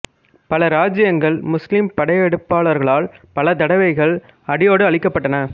பல இராச்சியங்கள் முஸ்லீம் படையெடுப்பாளர்களால் பல தடவைகள் அடியோடு அழிக்கப்பட்டன